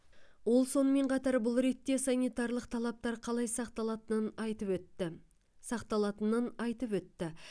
ол сонымен қатар бұл ретте санитарлық талаптар қалай сақталатынын айтып өтті сақталатының айтып өтті